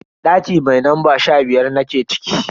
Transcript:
Daki mai lamba sha biyar nake ciki.